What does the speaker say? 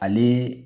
Ale